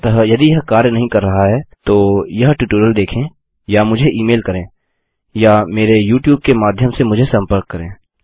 अतः यदि यह कार्य नहीं कर रहा है तो यह ट्यूटोरियल देखें या मुझे ई मेल करें या मेरे यूट्यूब के माध्यम से मुझसे संपर्क करें